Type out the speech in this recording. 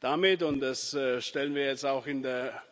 Damit und das stellen wir jetzt auch in der